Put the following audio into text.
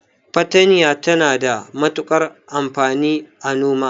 Fatanya tana da matukar amfani a noma.